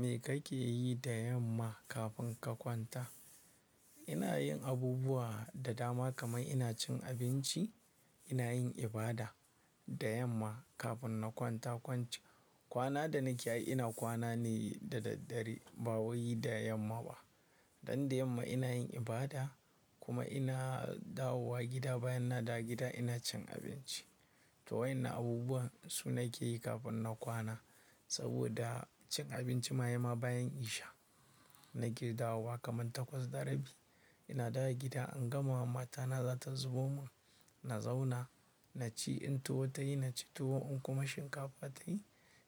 Me kake yi da yamma kafin ka kwanta? Ina yin abubuwa da dama kamar ina cin abinci, ina yin ibada da yamma kafin na kwanta kwancan. Kwana da nake yi ina kwana ne da daddare ba waye da yamma ba. Dan da yamma ina yin ibada kuma ina dawowa gida, bayan na dawo gida ina cin abinci. To waenan abubuwan su nake yi kafin in kwana. Saboda cin abinci mayama bayan isha. Na ke dawowa kaman takwas da rabi. Ina dawo gida an gama wa matana zata zubo mun. Na zauna, na ci, in tuwo ta yi na ci tuwo in kuma shinkafa ta yi